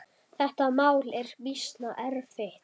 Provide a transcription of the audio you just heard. Þetta mál er býsna erfitt.